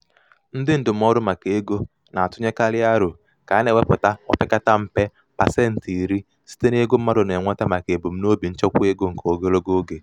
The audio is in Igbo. ndị ndụmọdụ maka ego na-atụnyekarị aro ka a na-ewepụta opekata mpe pasentị iri site n'ego mmadụ na-enweta maka ebumnobi nchekwaego nke ogologo oge.